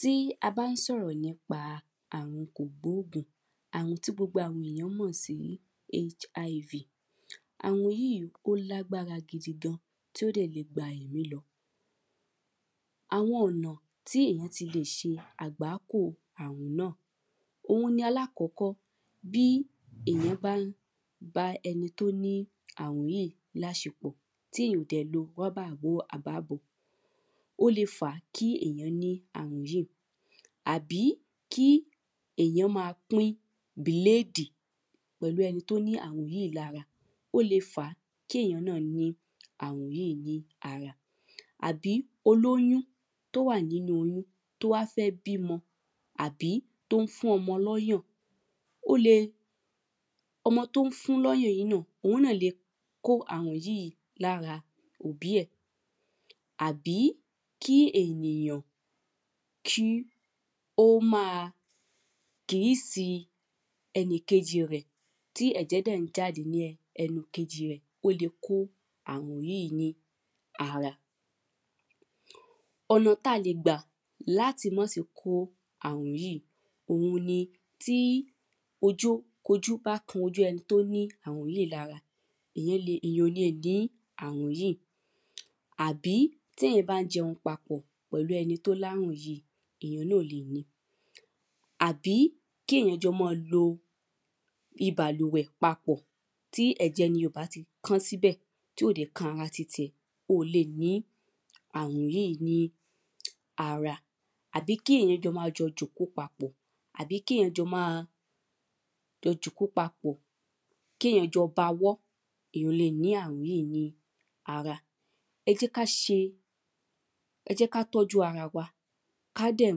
Tí a bá ń sọ̀rọ̀ nípa arùn kò gbógùn àrùn tí gbogbo àwọn èyàn mọ̀ sí HIV. Àrùn yíì ó lágbára gidi gan tí ó dẹ̀ le gba ẹ̀mí lọ Àwọn ọ̀nà tí èyàn ti le ṣe àgbákò àrùn náà òun ni alákọ̀kọ́ bí èyàn bá ń bá ẹni tó ní àrùn yíì láṣepọ̀ tí ò dẹ̀ lo rọ́bà bó àbá bò ó le fà kí ènìyàn ní àrùn yíì àbí kí èyàn má a pín bìlédì pẹ̀lú ẹni tó ní àrùn yíì lára ó le fà kí ènìyàn ní àrùn yíì náà ní ara. Àbí olóyún tó wà nínú oyún tó wá fẹ́ bímọ àbí tó ń fún ọmọ lọ́yàn ó le ọmọ tó ń fún lọ́yàn náà òun náà le kó àrùn yìí lára òbí ẹ̀. Àbí kí ènìyàn kí ó má a kísì ẹnì kejì rẹ̀ tí ẹ̀jẹ̀ dẹ̀ ń jáde ní ẹnu ẹnìkejì rẹ̀ ó le kó àrùn yíì ní ara ẹ̀. Ọ̀nà tá le gbà láti má se kó àrùn yíì òun ni tí ojó ojó bá kan ẹni tó ní àrùn yíì lára èyàn le èyàn ò le ní àrùn yíì. Àbí téyàn bá ń jẹun papọ̀ pẹ̀lú ẹni tó lárùn yíì èyàn náà o le ní. Àbí kí èyàn jọ mọ́ lo ibàlùwẹ̀ papọ̀ tí ẹ̀jẹ̀ ẹniyẹn ò bá ti kán síbẹ̀ tí ò dẹ̀ kan ara titi ẹ o lè ní àrùn yíì ní ára. Àbí kí èyàn jọ má jọ jòkó papọ̀ Àbí kí èyàn jọ má jọ jòkó papọ̀ kéyàn jọ bawọ́ èyàn ò le ní àrùn yíì ní ára. Ẹ jẹ́ ká ṣe Ẹ jẹ́ ká tọ́jú ara wa ká dẹ̀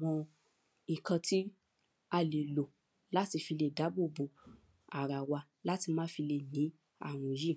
mọ nǹkan tí a lè lò láti fi lè dábò bo ara wa látì le má lè fi ní àrùn yíì.